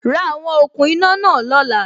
Ra àwon okùn iná náà lóla